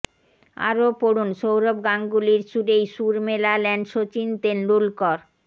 আরও পড়ুন সৌরভ গাঙ্গুলির সুরেই সুর মেলালেন সচিন তেন্ডুলকর